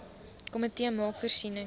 komitee maak voorsiening